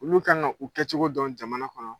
Olu kan ka u kɛcogo dɔn jamana kɔnɔ.